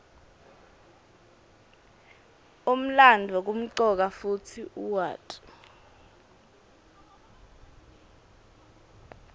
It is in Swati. umlandvo kumcoka kutsi uwati